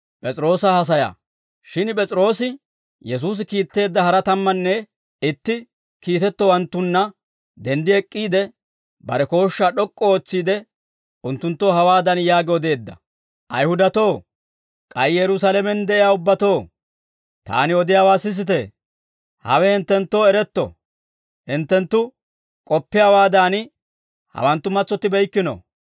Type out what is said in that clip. Shin P'es'iroosi, Yesuusi kiitteedda hara tammanne itti kiitettowanttunna denddi ek'k'iide, bare kooshshaa d'ok'k'u ootsiide, unttunttoo hawaadan yaagi odeedda; «Ayihudatoo, k'ay Yerusaalamen de'iyaa ubbatoo, taani odiyaawaa sisite. Hawe hinttenttoo eretto; hinttenttu k'oppiyaawaadan, hawanttu matsottibeykkino.